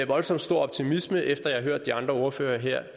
voldsom stor optimisme efter jeg har hørt de andre ordførere her